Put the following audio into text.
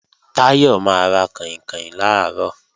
Táyọ̀ máa ra kàìnkàìn làárọ̀